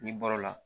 N'i bɔr'o la